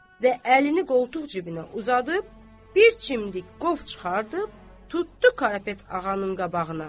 Və əlini qoltuq cibinə uzadıb, bir çimdik qov çıxardıb, tutdu Karapet Ağanın qabağına.